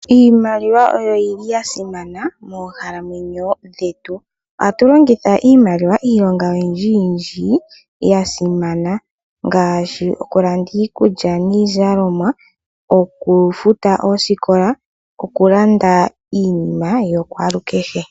Iimaliwa oyo yili yasimana moonkalamwenyo dhetu . Ohatu longitha iimaliwa iilonga oyindji yasimana ngaashi okulanda iikulya niizalomwa, okufuta oosikola nokulanda iinima yakwaalukehe.